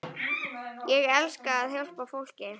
Ég elska að hjálpa fólki.